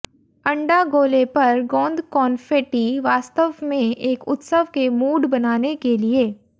अंडा गोले पर गोंद कॉन्फ़ेटी वास्तव में एक उत्सव के मूड बनाने के लिए